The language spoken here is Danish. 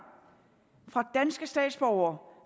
fra danske statsborgere